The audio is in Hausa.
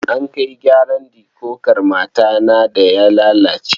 An kai gyaran dikodar matata da ya lalace.